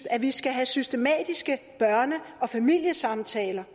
at vi skal have systematiske børne og familiesamtaler